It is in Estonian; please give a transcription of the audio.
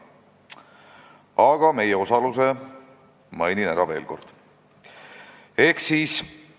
Aga mainin veel kord ära meie osaluse.